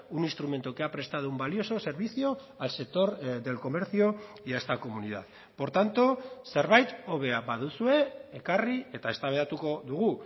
un instrumento que ha prestado un valioso servicio al sector del comercio y a esta comunidad por tanto zerbait hobea baduzue ekarri eta eztabaidatuko dugu